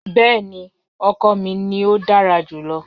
Bẹẹni, ọkọ mi ni o dara julọ.